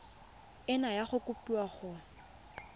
nna ya kopiwa kwa go